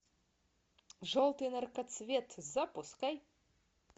желтый наркоцвет запускай